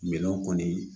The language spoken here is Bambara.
Minɛnw kɔni